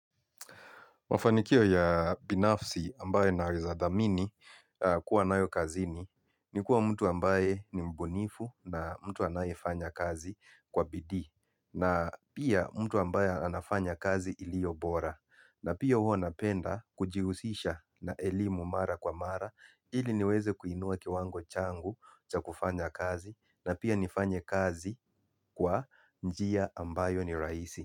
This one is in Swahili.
Mafanikio ya binafsi ambayo naweza thamini kuwa nayo kazini ni kuwa mtu ambaye ni mbunifu na mtu anayefanya kazi kwa bidii. Na pia mtu ambaye anafanya kazi ilio bora. Na pia hua napenda kujihusisha na elimu mara kwa mara ili niweze kuinua kiwango changu cha kufanya kazi. Na pia nifanye kazi kwa njia ambayo ni rahisi.